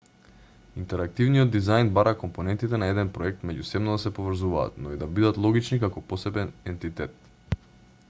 интерактивниот дизајн бара компонентите на еден проект меѓусебно да се поврзуваат но и да бидат логични како посебен ентитет